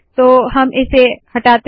तो हम इसे हटाते है